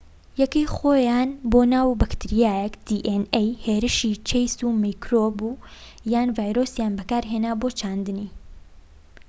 هێرشی و چەیس میکرۆب یان ڤایرۆسیان بەکارهێنا بۆ چاندنی dna یەکەی خۆیان بۆناو بەکتریایەک